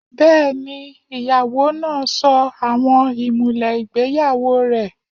Bẹ́ẹ̀ni, ìyàwó náà sọ àwọn ìmùlẹ̀ ìgbéyàwó rẹ̀